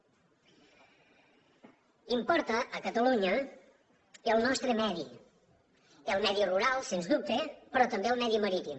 importa a catalunya el nostre medi el medi rural sens dubte però també el medi marítim